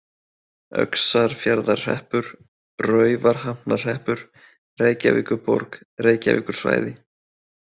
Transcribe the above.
Öxarfjarðarhreppur, Raufarhafnarhreppur, Reykjavíkurborg, Reykjavíkursvæði